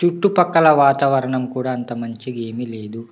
చుట్టూ పక్కల వాతావరణం కూడా అంతా మంచిగా ఏమి లేదు .